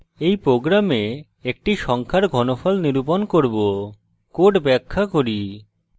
in program একটি সংখ্যার cube ঘনফল নিরূপণ করব code ব্যাখ্যা cube